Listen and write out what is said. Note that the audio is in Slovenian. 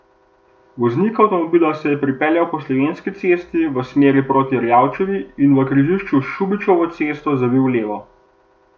Voznik avtomobila se je pripeljal po Slovenski cesti v smeri proti Erjavčevi in v križišču s Šubičevo cesto zavil levo.